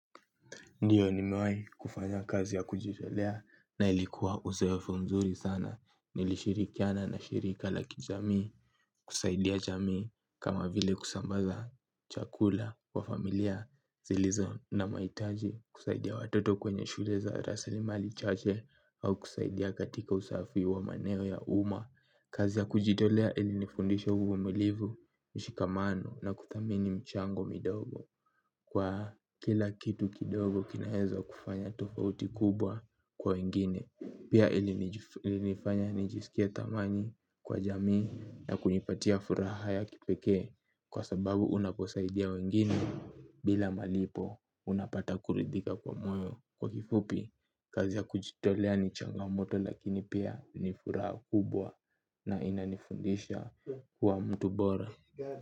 Ndiyo nimewai kufanya kazi ya kujitolea na ilikuwa uzoefu mzuri sana. Nilishirikiana na shirika lakijamii, kusaidia jamii kama vile kusambaza, chakula, kwa familia, zilizo na mahitaji, kusaidia watoto kwenye shule za rasilimali chache au kusaidia katika usafi wa maneo ya uma. Kazi ya kujitolea ili nifundisha uvumiliivu, ushikamano na kuthamini mchango midogo. Kwa kila kitu kidogo kinaeza kufanya tofauti kubwa kwa wengine. Pia ili nifanya nijisikie thamani kwa jamii na kunipatia furaha ya kipeke. Kwa sababu unaposaidia wengine bila malipo unapata kuridhika kwa moyo. Kwa kifupi, kazi ya kujitolea ni changamoto lakini pia ni furaha kubwa na inanifundisha kuwa mtu bora.